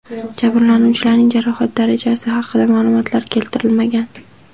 Jabrlanuvchilarning jarohat darajasi haqida ma’lumotlar keltirilmagan.